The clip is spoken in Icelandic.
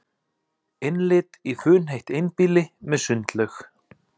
Innlit í funheitt einbýli með sundlaug